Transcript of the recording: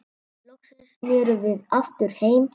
Loksins snerum við aftur heim.